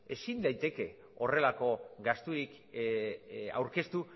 ezin daiteke horrelako gasturik aurkeztu